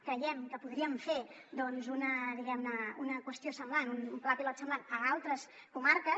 creiem que podríem fer una diguem ne qüestió semblant un pla pilot semblant a altres comarques